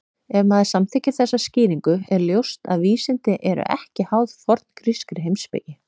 Ef maður samþykkir þessa skýringu er ljóst að vísindi eru ekki háð forngrískri heimspeki.